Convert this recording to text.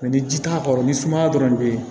ni ji t'a kɔrɔ ni sumaya dɔrɔn de bɛ ye